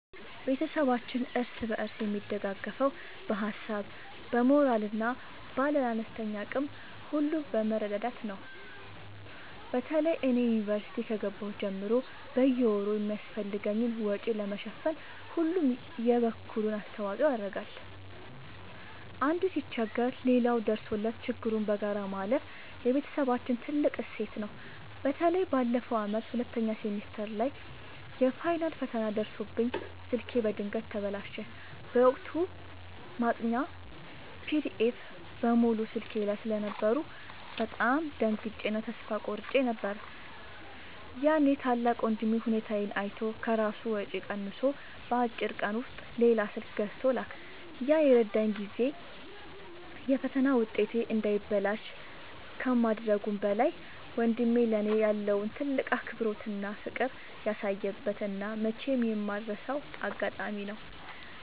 ቤተሰባችን እርስ በርስ የሚደጋገፈው በሀሳብ፣ በሞራል እና ባለን አነስተኛ አቅም ሁሉ በመረዳዳት ነው። በተለይ እኔ ዩኒቨርሲቲ ከገባሁ ጀምሮ በየወሩ የሚያስፈልገኝን ወጪ ለመሸፈን ሁሉም የበኩሉን አስተዋጽኦ ያደርጋል። አንዱ ሲቸገር ሌላው ደርሶለት ችግሩን በጋራ ማለፍ የቤተሰባችን ትልቅ እሴት ነው። በተለይ ባለፈው ዓመት ሁለተኛ ሴሚስተር ላይ የፋይናል ፈተና ደርሶብኝ ስልኬ በድንገት ተበላሸ። በወቅቱ ማጥኛ ፒዲኤፎች (PDFs) በሙሉ ስልኬ ላይ ስለነበሩ በጣም ደንግጬ እና ተስፋ ቆርጬ ነበር። ያኔ ታላቅ ወንድሜ ሁኔታዬን አይቶ ከራሱ ወጪ ቀንሶ በአጭር ቀን ውስጥ ሌላ ስልክ ገዝቶ ላከልኝ። ያ የረዳኝ ጊዜ የፈተና ውጤቴ እንዳይበላሽ ከማድረጉም በላይ፣ ወንድሜ ለእኔ ያለውን ትልቅ አክብሮትና ፍቅር ያሳየበት እና መቼም የማልረሳው አጋጣሚ ነው።